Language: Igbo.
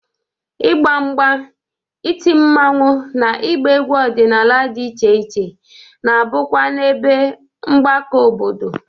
Ịgba mgba, iti mmanwụ na ịgba egwu ọdịnala dị iche iche na-abụkwa n'ebe mgbakọ obodo.